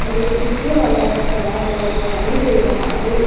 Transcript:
और एक रिक्शे वाला भी खड़ा हुआ दिखाई दे रहा है।